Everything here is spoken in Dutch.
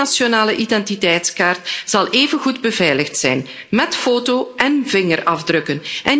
Elke nationale identiteitskaart zal even goed beveiligd zijn met foto én vingerafdrukken.